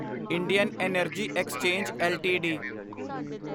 Indian energy exchange LTD